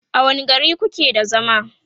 a wani gari kuke da zama?